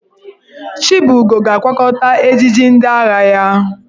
Chibugo ga-akwakọta ejiji ndị agha ya.